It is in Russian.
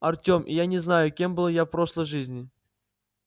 артём и я не знаю кем я был в прошлой жизни